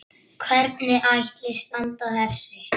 Hvernig ætli standi á þessu?